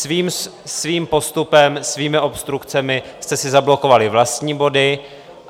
Svým postupem, svými obstrukcemi jste si zablokovali vlastní body.